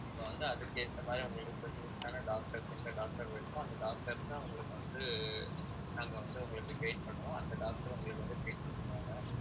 இப்ப வந்து அதுக்கு ஏத்த மாதிரி உங்களுக்கு specialist ஆன doctors எந்த doctors வேணுமோ அந்த doctors தான் உங்களுக்கு வந்து நாங்க வந்து உங்களுக்கு guide பண்ணுவோம் அந்த doctor உங்களுக்கு வந்து treatment பண்ணுவாங்க